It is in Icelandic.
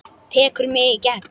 Tekur mig í gegn.